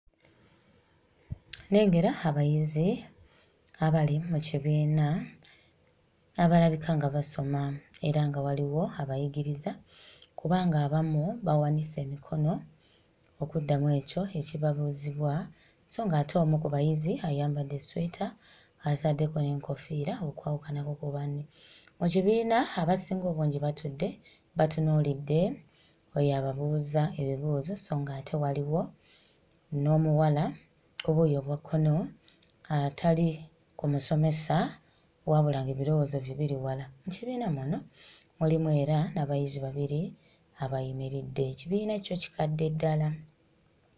Nnengera abayizi abali mu kibiina abalabika nga basoma era nga waliwo abayigiriza kubanga abamu bawanise emikono okuddamu ekyo ekibabuuzibwa sso ng'ate omu ku bayizi ayambadde essweta ataddeko n'enkoofiira okwawukanako ku banne. Mu kibiina abasinga obungi batudde batunuulidde oyo ababuuza ebibuuzo sso nga'ate waliwo n'omuwala ku buuyi obwa kkono atali ku musomesa, wabula ng'ebirowoozo bye biri wala. Mu kibiina muno mulimu era n'abayizi babiri abayimiridde. Ekibiina kyo kikadde ddala.